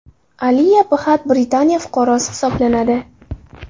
Aliya Bxatt Britaniya fuqarosi hisoblanadi.